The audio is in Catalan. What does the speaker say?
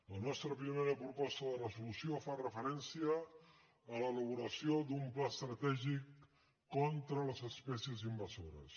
la nostra primera proposta de resolució fa referència a l’elaboració d’un pla estratègic contra les espècies invasores